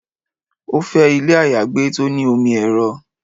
Ó fẹ́ ilé àyágbé tó ní omi ẹ́rọ